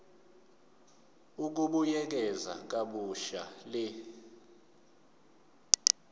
ukubuyekeza kabusha le